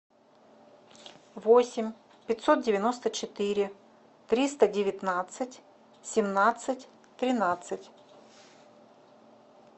восемь пятьсот девяносто четыре триста девятнадцать семнадцать тринадцать